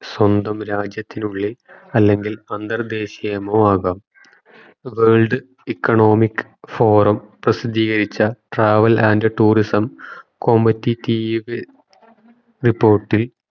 സ്വന്തം രാജ്യത്തിനുള്ളിൽ അല്ലെങ്കിൽ അന്തർദേഷ്യമമോ ആകാം world economic forum പ്രസിദ്ധീകരിച്ച travel and tourism competitive report ഇൽ